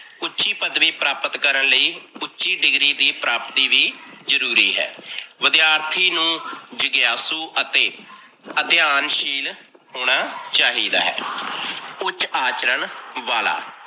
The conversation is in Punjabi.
ਉੱਚੀ ਪਦਵੀ ਪ੍ਰਾਪਤ ਕਰਨ ਲਈ ਉੱਚੀ degree ਦੀ ਪ੍ਰਾਪਤੀ ਵੀ ਜਰੂਰੀ ਹੈ। ਵਿਦਿਆਰਥੀ ਨੂੰ ਜਿਗਆਸੂ ਅਤੇ ਅਧਿਆਨਸ਼ੀਲ ਹੋਣ ਚਾਹੀਦਾ ਹੈ। ਉੱਚ ਆਚਰਨ ਵਾਲਾ,